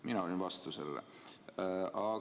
Mina olin sellele vastu.